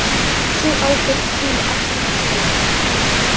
Sú ábyrgð hvíli alltaf á söluaðila